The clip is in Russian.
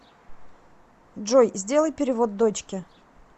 джой сделай перевод дочке